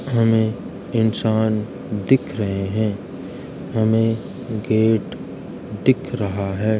हमें इंसान दिख रहे हैं हमें गेट दिख रहा है।